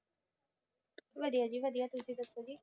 ਵਧੀਆ ਜੀ ਵਧੀਆ ਤੁਸੀਂ ਦੱਸੋ ਜੀ